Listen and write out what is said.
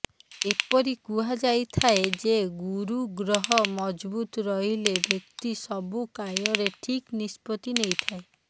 ଏପରି କୁହାଯାଇଥାଏ ଯେ ଗୁରୁ ଗ୍ରହ ମଜବୁତ୍ ରହିଲେ ବ୍ୟକ୍ତି ସବୁ କାର୍ୟ୍ୟରେ ଠିକ୍ ନିଷ୍ପତି ନେଇଥାଏ